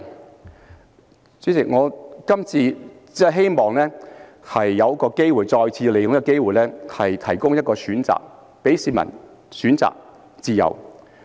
代理主席，我今次只是希望再次利用這機會，向市民提供一個選擇，讓市民有選擇的自由。